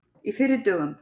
Í fyrri dögum.